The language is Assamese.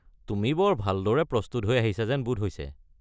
তুমি বৰ ভালদৰে প্ৰস্তুত হৈ আহিছা যেন বোধ হৈছে।